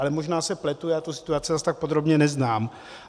Ale možná se pletu, já tu situaci zase tak podrobně neznám.